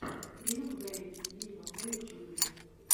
лил вэйн виво на ютюбе